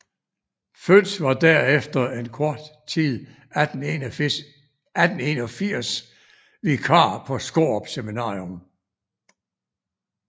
Fønss var derefter en kort tid 1881 vikar på Skårup Seminarium